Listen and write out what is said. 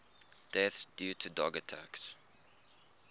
deaths due to dog attacks